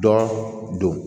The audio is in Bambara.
Dɔ don